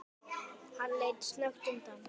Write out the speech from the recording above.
Hann leit snöggt undan.